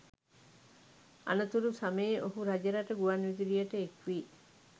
අනතුරු සමයේ ඔහු රජරට ගුවන් විදුලියට එක්වී